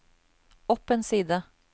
opp en side